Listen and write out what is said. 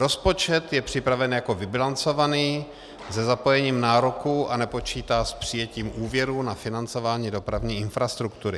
Rozpočet je připraven jako vybilancovaný se zapojením nároků a nepočítá s přijetím úvěrů na financování dopravní infrastruktury.